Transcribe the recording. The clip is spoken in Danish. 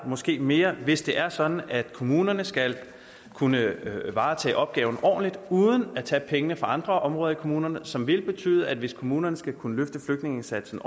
måske mere hvis det er sådan at kommunerne skal kunne varetage opgaven ordentligt uden at tage pengene fra andre områder i kommunerne som vil betyde at hvis kommunerne skal kunne løfte flygtningeindsatsen